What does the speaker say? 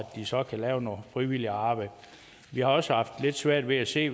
de så kan lave noget frivilligt arbejde vi har også haft lidt svært ved at se